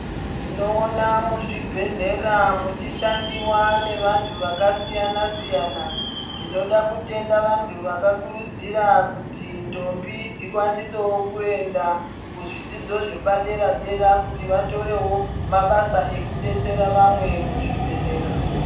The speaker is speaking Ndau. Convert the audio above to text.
Tinoona muzvibhedhlera mushandiwa nevantu vakasiyana siyana tinoda kutenda vantu vakakurudzira kuti ndombi dzikwanisewo kuzvidzidzo zvepaderdera kuti vatorewo mabasa ekubetsera vamwe muzvibhedhlera.